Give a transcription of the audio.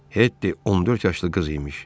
Hetti 14 yaşlı qız imiş.